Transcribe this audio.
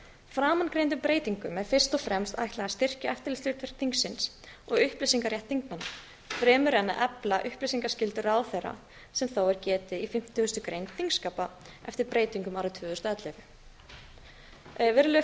framangreindum breytingum er fyrst og fremst ætlað að styrkja eftirlitshlutverk alþingis og upplýsingarétt þingmanna fremur en að efla upplýsingaskyldu ráðherra sem þó er getið í fimmtugustu grein þingskapa eftir breytingum árið tvö þúsund og ellefu virðulegi